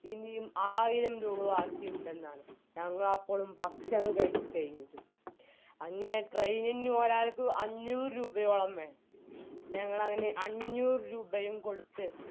ഇനിയും ആയിരം രൂപ ബാക്കിയുണ്ടെന്നാണ് ഞങ്ങളപ്പളും ഭക്ഷണം കഴിച്ച് കഴിഞ്ഞിരുന്നു അങ്ങനെ train ഇൽ ഒരാൾക്കു അഞ്ഞൂറ് രൂപയോളം വേണം ഞങ്ങളങ്ങനെ അഞ്ഞൂറുരൂപയും കൊടുത്ത്